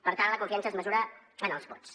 per tant la confiança es mesura en els vots